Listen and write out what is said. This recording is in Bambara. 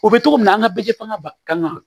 O bɛ cogo min na an ka bɛɛ fanga ba kan